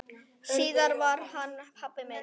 Síðar varð hann pabbi minn.